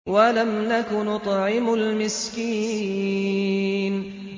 وَلَمْ نَكُ نُطْعِمُ الْمِسْكِينَ